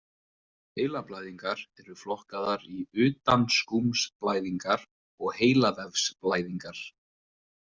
Heilablæðingar eru flokkaðar í utanskúmsblæðingar og heilavefsblæðingar.